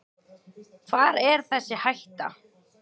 Hvar er þessi hætta.